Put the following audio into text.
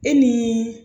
E ni